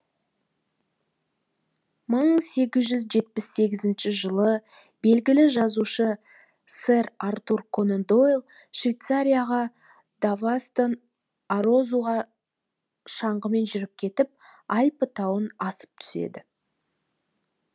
мың сегіз жүз жетпіс сегізінші жылы белгілі жазушы сэр артур конан дойл швейцарияға давостан арозуға шаңғымен жүріп өтіп альпі тауын асып түседі